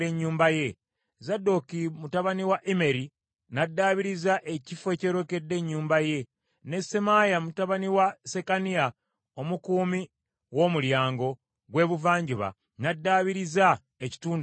Zadooki mutabani wa Immeri n’addaabiriza ekifo ekyolekedde ennyumba ye, ne Semaaya mutabani wa Sekaniya omukuumi w’omulyango gw’ebuvanjuba n’addaabiriza ekitundu ekyaddirira.